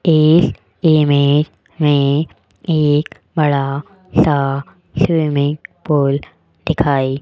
इस इमेज में एक बड़ा सा स्विमिंग पूल दिखाई --